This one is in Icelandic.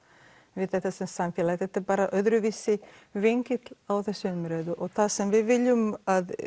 við þetta sem samfélag þetta er bara öðruvísi á þessa umræðu og það sem við viljum